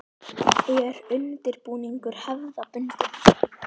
Er undirbúningur hefðbundin?